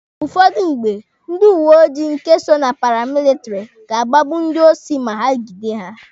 Ụfọdụ mgbe, ndị uweojii nke so na paramilitary ga-agbagbu ndị osi ma ha gide ha.